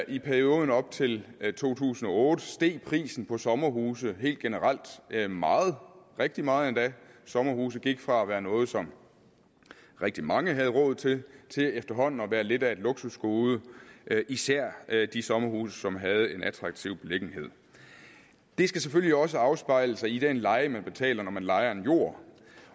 i perioden op til to tusind og otte steg prisen på sommerhuse helt generelt meget rigtig meget endda sommerhuse gik fra at være noget som rigtig mange havde råd til til efterhånden at være lidt af et luksusgode især de sommerhuse som havde en attraktiv beliggenhed det skal selvfølgelig også afspejle sig i den leje man betaler når man lejer en jord